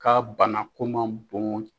Ka banako man bon